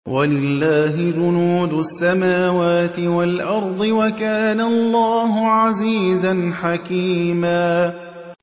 وَلِلَّهِ جُنُودُ السَّمَاوَاتِ وَالْأَرْضِ ۚ وَكَانَ اللَّهُ عَزِيزًا حَكِيمًا